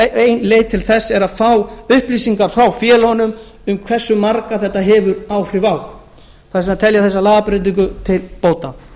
sal ein leið til þess er að fá upplýsingar frá félögunum um hversu marga þetta hefur áhrif á þess vegna tel ég þessa lagabreytingu til bóta